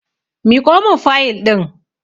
Miƙo mun fayil ɗin!